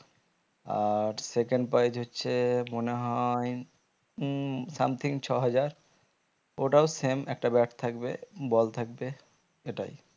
আর second prize হচ্ছে মনে হয়ে মম something ছ হাজার ওটাও same একটা bat থাকবে ball থাকবে সেটাই